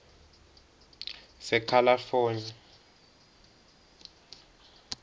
sekalafoni